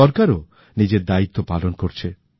সরকার ও নিজের দায়িত্ত্ব পালন করছে